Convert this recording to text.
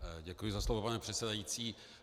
Děkuji za slovo, pane předsedající.